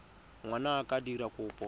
ngwana a ka dira kopo